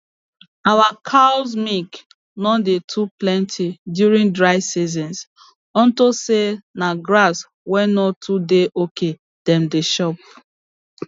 our cows milk no dey too plenty during dry seasons unto say na grass wey no too dey okay dem dey chop